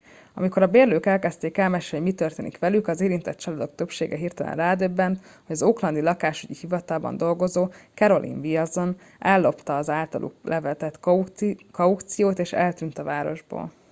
amikor a bérlők elkezdték elmesélni hogy mi történt velük az érintett családok többsége hirtelen rádöbbent hogy az oaklandi lakásügyi hivatalban dolgozó carolyn wilson ellopta az általuk letett kauciót és eltűnt a városból